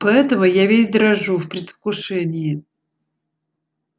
поэтому я весь дрожу в предвкушении